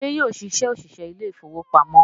Ṣé yóò ṣiṣẹ́ òṣìṣẹ́ ilé ìfowópamọ́?